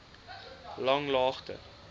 langlaagte